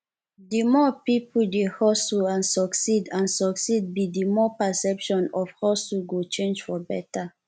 di more we peolpe dey hustle and succeed and succeed be di more perception of hustle go change for beta